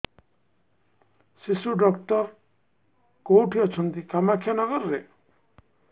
ଶିଶୁ ଡକ୍ଟର କୋଉଠି ଅଛନ୍ତି କାମାକ୍ଷାନଗରରେ